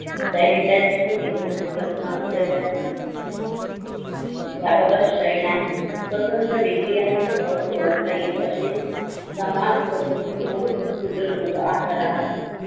देहेडांची व निर्बंधांची प्रस्तावना तयार केली याबाबत क्षय नाही स्वतंत्र वेगळी आणि सहज ओळखता येईल अशी समाज म्हणू हि मोल शूद्र लोक आता राहत होती.